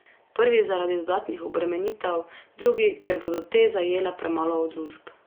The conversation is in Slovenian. Prvi zaradi dodatnih obremenitev, drugi, ker bodo te zajele premalo družb.